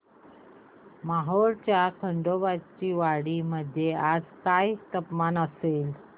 मोहोळच्या खंडोबाची वाडी मध्ये आज काय तापमान असेल